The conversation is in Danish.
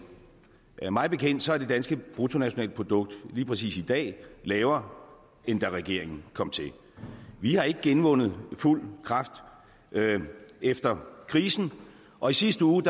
mig bekendt er det danske bruttonationalprodukt lige præcis i dag lavere end da regeringen kom til vi har ikke genvundet fuld kraft efter krisen og i sidste uge